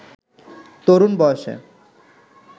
তরুণ বয়সে